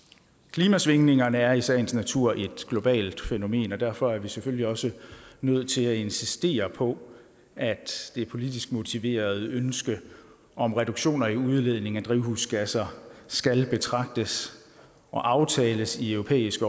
klimasvingningerne er i sagens natur et globalt fænomen og derfor er vi selvfølgelig også nødt til at insistere på at det politisk motiverede ønske om reduktioner i udledning af drivhusgasser skal betragtes og aftales i europæisk